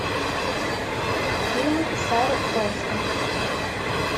фильмы сары полсон